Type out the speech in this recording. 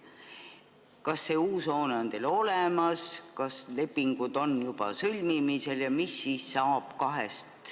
Kas see uus hoone on olemas, kas lepingud on juba sõlmimisel?